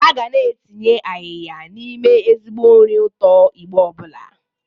A ga na-etinye ayịya n'ime ezigbo nri ụtọ Igbo ọbụla.